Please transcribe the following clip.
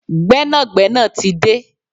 Gbẹ́nàgbẹ́nà tí de